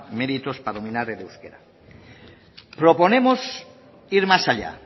méritos para dominar el euskera proponemos ir más allá